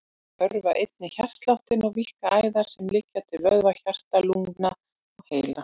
Þau örva einnig hjartsláttinn og víkka æðar sem liggja til vöðva, hjarta, lungna og heila.